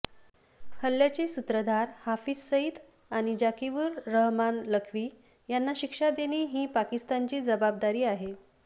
हल्ल्याचे सुत्रधार हाफिज सईद आणि जाकीउर रहमान लखवी यांना शिक्षा देणे ही पाकिस्तानची जबाबदारी आहे